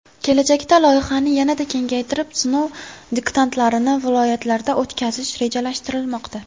Kelajakda loyihani yanada kengaytirib, sinov diktantlarini viloyatlarda o‘tkazish rejalashtirilmoqda.